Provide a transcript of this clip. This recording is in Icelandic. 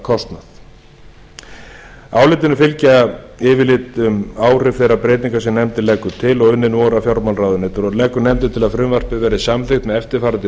verðbótakostnað álitinu fylgja yfirlit um áhrif þeirra breytinga sem nefndin leggur til og unnin voru af fjármálaráðuneyti nefndin leggur til að frumvarpið verði samþykkt með eftirfarandi